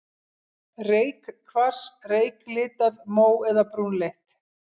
Reykkvars, reyklitað, mó- eða brúnleitt.